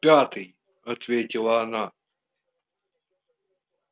в пятый ответила она